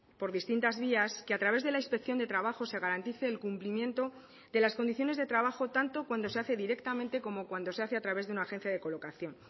por distintas vías que a través de la inspección de trabajo se garantice el cumplimiento de las condiciones de trabajo tanto cuando se hace directamente como cuando se hace a través de una agencia de colocación